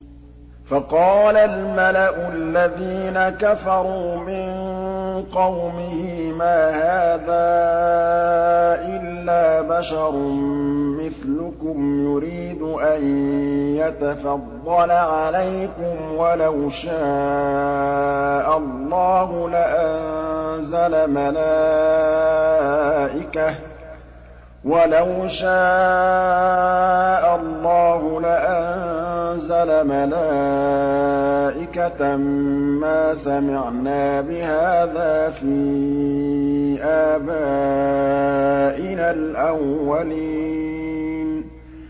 فَقَالَ الْمَلَأُ الَّذِينَ كَفَرُوا مِن قَوْمِهِ مَا هَٰذَا إِلَّا بَشَرٌ مِّثْلُكُمْ يُرِيدُ أَن يَتَفَضَّلَ عَلَيْكُمْ وَلَوْ شَاءَ اللَّهُ لَأَنزَلَ مَلَائِكَةً مَّا سَمِعْنَا بِهَٰذَا فِي آبَائِنَا الْأَوَّلِينَ